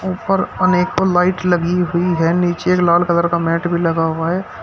और अनेकों लाइट लगी हुई है नीचे लाल एक कलर का मैट भी लगा हुआ हैं।